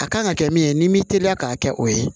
A kan ka kɛ min ye n'i m'i teliya k'a kɛ o ye